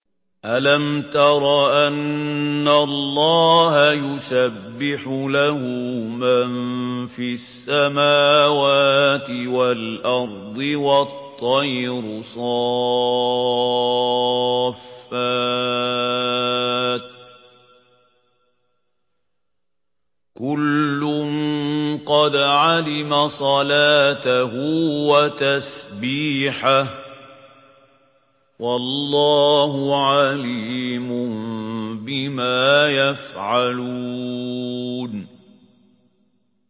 أَلَمْ تَرَ أَنَّ اللَّهَ يُسَبِّحُ لَهُ مَن فِي السَّمَاوَاتِ وَالْأَرْضِ وَالطَّيْرُ صَافَّاتٍ ۖ كُلٌّ قَدْ عَلِمَ صَلَاتَهُ وَتَسْبِيحَهُ ۗ وَاللَّهُ عَلِيمٌ بِمَا يَفْعَلُونَ